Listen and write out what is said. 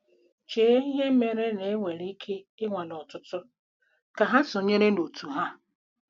Chee ihe mere na- enwere ike i nwalee ọtụtụ kà há sonyeere otú ha.